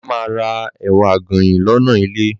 Bàbá ma ra ẹ̀wà àgànyìn lọ́nà ilé.